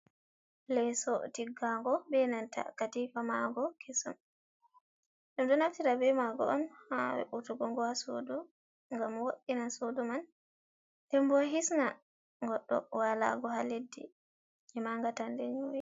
"Leso" tiggago benanta katifa mago kesum ɗum ɗo naftira be mago on ha we'utugogo ha sudu ngam wo'ina sudu man ndenbo hisna goɗɗo walago ha leddi ema ngatande nyu'i.